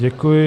Děkuji.